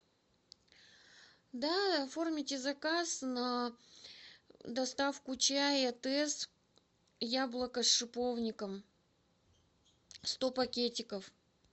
да оформите заказ на доставку чая тесс яблоко с шиповником сто пакетиков